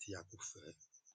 tí a kò fẹ